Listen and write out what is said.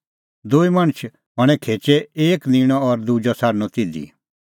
दूई मणछ हणैं खेचै एक निंणअ और दुजअ छ़ाडणअ तिधी